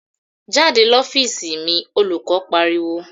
"Jáde l'ofiisi mi!" Olùkọ́ pariwo.